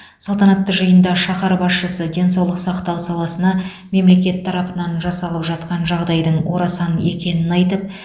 салтанатты жиында шаһар басшысы денсаулық сақтау саласына мемлекет тарапынан жасалып жатқан жағдайдың орасан екенін айтып